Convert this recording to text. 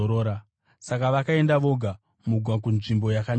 Saka vakaenda voga mugwa kunzvimbo yakanyarara.